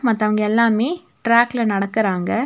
மத்தவங்க எல்லாமே ட்ராக்ல நடக்குறாங்க.